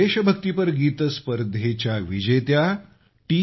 देशभक्तीपर गीत स्पर्धेच्या विजेत्या टी